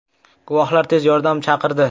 Guvohlar tez yordam chaqirdi.